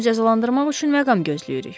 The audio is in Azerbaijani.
Onu cəzalandırmaq üçün məqam gözləyirik.